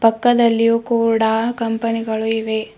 ಪಕ್ಕದಲ್ಲಿಯು ಕೂಡ ಕಂಪನಿ ಗಳು ಇವೆ.